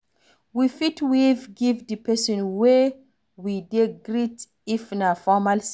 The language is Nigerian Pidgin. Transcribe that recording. We fit wave give di person wey we dey greet if na formal setting